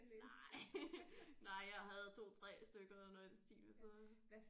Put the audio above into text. Nej nej jeg havde 2 3 stykker eller noget i den stil så